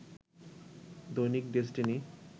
Dainik Destiny